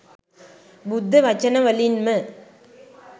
බුද්ධ වචන වලින් ම